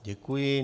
Děkuji.